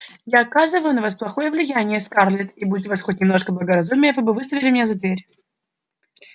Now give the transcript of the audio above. я оказываю на вас плохое влияние скарлетт и будь у вас хоть немножко благоразумия вы бы выставили меня за дверь